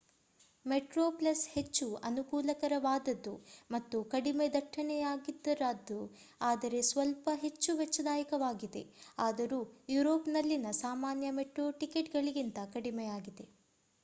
Metro Plus ಹೆಚ್ಚು ಅನುಕೂಲಕರವಾದದ್ದು ಮತ್ತು ಕಡಿಮೆ ದಟ್ಟಣೆಯದ್ದಾಗಿದ್ದು ಆದರೆ ಸ್ವಲ್ಪ ಹೆಚ್ಚು ವೆಚ್ಚದಾಯಕವಾಗಿದೆ ಆದರೂ ಯುರೋಪ್‌ನಲ್ಲಿನ ಸಾಮಾನ್ಯ ಮೆಟ್ರೋ ಟಿಕೆಟ್‌ಗಳಿಗಿಂತ ಕಡಿಮೆಯದಾಗಿದೆ